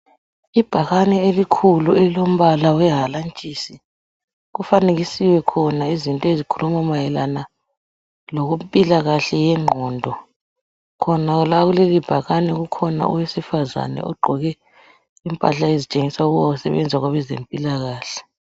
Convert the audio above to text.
Ibhakane elikhulu elilombala wehalantshisi .Kufanekiswe khona izinto ezikhuluma mayelana lokwempilakahle yengqondo. Khona la kuleli bhakane kukhona owesifazane ogqoke impahla ezitshengisa ukuba usebenza kwabezempilakahle.